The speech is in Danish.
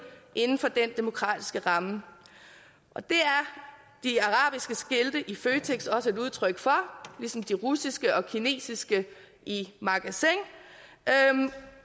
inden for den demokratiske ramme og det er de arabiske skilte i føtex også et udtryk for ligesom de russiske og kinesiske i magasin